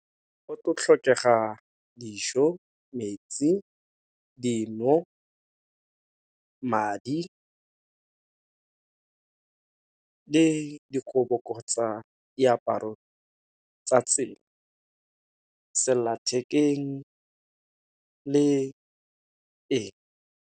Go tlo tlhokega dijo, metsi, dino, madi, le dikobo kgotsa diaparo tsa tsela, sellathekeng le ee.